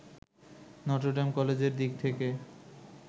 Notre Dame কলেজের দিক থেকে